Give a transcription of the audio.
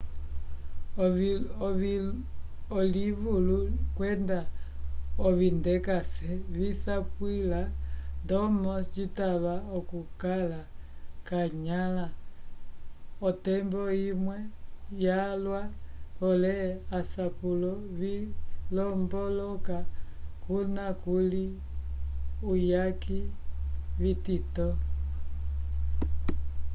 alivulu kwenda ovindekase visapwila ndomo citava okukala k'anyãla otembo imwe vyalwa pole asapulo vilombolola kuna kuli uyaki vitito